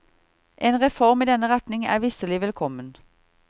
En reform i denne retning er visselig velkommen.